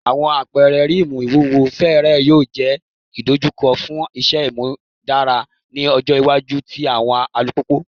Awọn apẹrẹ rim iwuwo fẹẹrẹ yoo jẹ idojukọ fun iṣẹ imudara ni ọjọ iwaju ti awọn alupupu